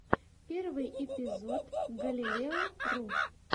первый эпизод галилео ру